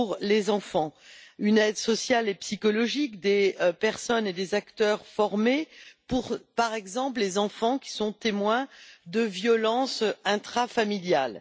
des enfants une aide sociale et psychologique, des personnes et des acteurs formés, par exemple pour les enfants qui sont témoins de violences intrafamiliales.